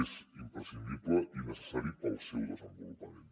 és imprescindible i necessari per al seu desenvolupament